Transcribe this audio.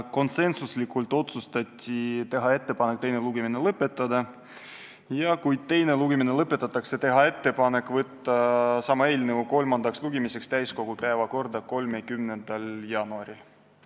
Konsensuslikult otsustati teha ettepanek teine lugemine lõpetada ja kui teine lugemine lõpetatakse, on meil ettepanek saata sama eelnõu kolmandaks lugemiseks täiskogu päevakorda 30. jaanuariks.